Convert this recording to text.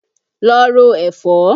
Lọ ro ẹ̀fọ́!